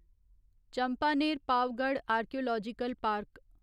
Champaner Pavagadh archaeological park